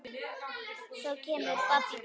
Svo kemur babb í bátinn.